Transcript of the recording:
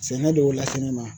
Sɛnɛ de y'o lase ne ma